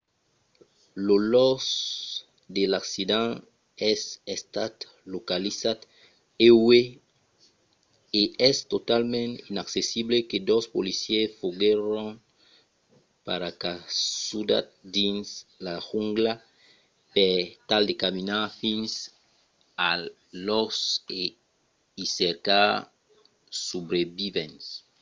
lo lòc de l'accident es estat localizat uèi e es talament inaccessible que dos policièrs foguèron paracasudats dins la jungla per tal de caminar fins al lòc e i cercar de subrevivents